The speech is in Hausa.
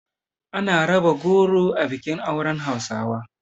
Ana raba goro a bikin auren hausawa.